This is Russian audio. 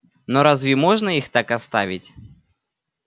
но разве можно их так оставить